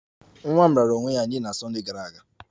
Nwa m raara onwe ya nye na Sunday gara aga